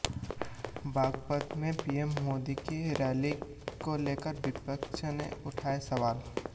बागपत में पीएम मोदी की रैली को लेकर विपक्ष ने उठाए सवाल